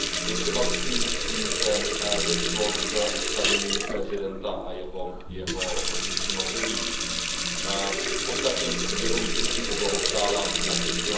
je třeba se smířit s tím, že došlo k ustavení prezidenta a jeho funkční období. Ostatně k jeho vítězství poblahopřála např.